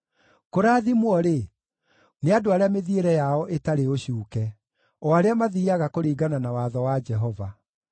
Kũrathimwo-rĩ, nĩ andũ arĩa mĩthiĩre yao ĩtarĩ ũcuuke, o arĩa mathiiaga kũringana na watho wa Jehova.